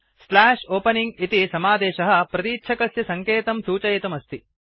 slash opening इति समादेशः प्रतीच्छकस्य सङ्केतं सूचयितुम् अस्ति